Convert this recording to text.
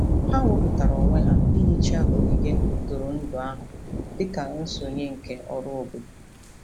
Ha wepụtara onwe ha ihicha ogige ntụrụndụ ahụ dị ka nsonye nke ọrụ obodo.